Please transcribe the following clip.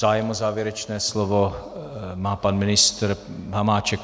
Zájem o závěrečné slovo má pan ministr Hamáček.